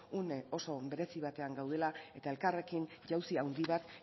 une oso berezi batean gaudela eta elkarrekin jauzi handi bat